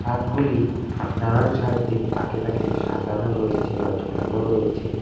Shirt গুলি নানান সারিতে তাকে তাকে সাজানো রয়েছে বা ঝোলানো রয়েছে।